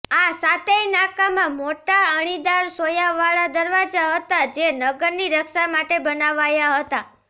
આ સાતેય નાકામાં મોટા અણીદાર સોયાવાળા દરવાજા હતા જે નગરની રક્ષા માટે બનાવાયા હતા